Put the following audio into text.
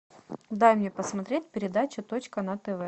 дай мне посмотреть передачу точка на тв